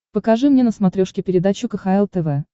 покажи мне на смотрешке передачу кхл тв